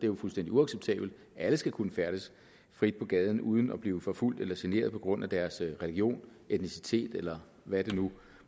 jo fuldstændig uacceptabelt alle skal kunne færdes frit på gaden uden at blive forfulgt eller generet på grund af deres religion etnicitet eller hvad det nu